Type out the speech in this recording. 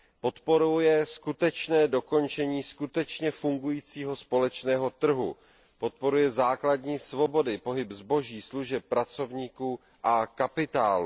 Podporuje skutečné dokončení skutečně fungujícího společného trhu, podporuje základní svobody, pohyb zboží, služeb, pracovníků a kapitálu.